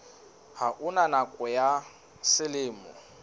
ha ona nakong ya selemo